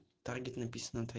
таргет написано отве